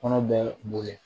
Kɔnɔ bɛ boli